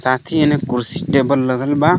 साथ ही एने कुर्सी-टेबल लगल बा.